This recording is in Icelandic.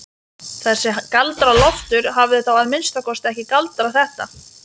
Þessi Galdra-Loftur hafði þá að minnsta kosti ekki galdrað þetta.